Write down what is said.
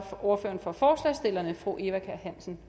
ordføreren for forslagsstillerne fru eva kjer hansen